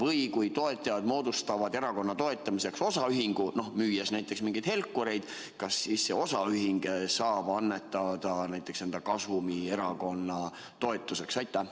Või kui toetajad moodustavad erakonna toetamiseks osaühingu, müües näiteks mingeid helkureid, kas siis see osaühing saab annetada enda kasumi erakonna toetuseks?